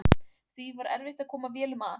Því var erfitt að koma vélum að.